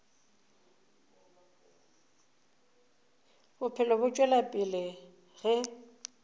bophelo bo tšwela pele ge